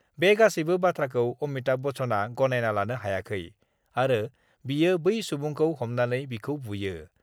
बे गासैबो बाथ्राखौ अमिताभ बच्चनआ गनायना लानो हायाखै आरो बियो बै सुबुंखौ हमनानै बिखौ बुयो।